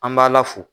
An b'a la fo